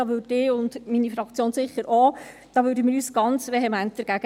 Dagegen würde ich mich – und meine Fraktion sicherlich auch – ganz vehement wehren.